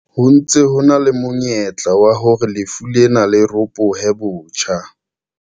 Ho ntse ho na le monyetla wa hore lefu lena le ropohe botjha.